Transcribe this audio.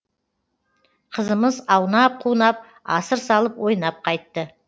қызымыз аунап қунап асыр салып ойнап қайтты